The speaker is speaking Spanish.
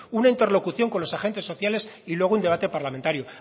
una interlocución con los agentes sociales y luego un debate parlamentario